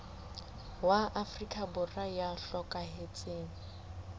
wa afrika borwa ya hlokahetseng